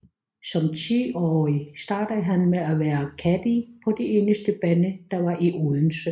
Som 10 årig startede han med at være caddie på den eneste bane der var i Odense